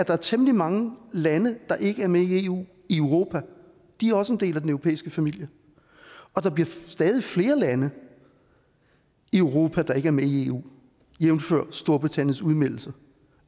der er temmelig mange lande der ikke er med i eu i europa de er også en del af den europæiske familie og der bliver stadig flere lande i europa der ikke er med i eu jævnfør storbritanniens udmeldelse